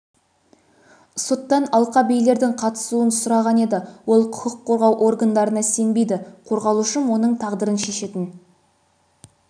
соттан алқа билердің қатысуын сұраған еді ол құқық қорғау органдарына сенбейді қорғалушым оның тағдырын шешетін